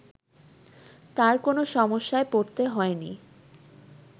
তার কোন সমস্যায় পড়তে হয়নি